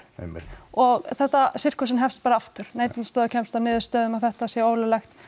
og sirkusinn hefst bara aftur Neytendastofa kemst að niðurstöðu um að þetta sé ólöglegt